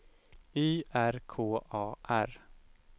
Y R K A R